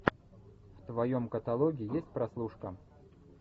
в твоем каталоге есть прослушка